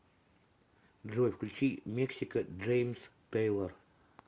джой включи мексика джеймс тэйлор